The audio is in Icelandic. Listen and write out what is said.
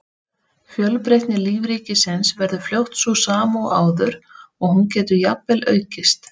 Fjölbreytni lífríkisins verður fljótt sú sama og áður og hún getur jafnvel aukist.